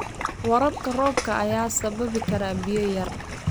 Waraabka roobka ayaa sababi kara biyo yari.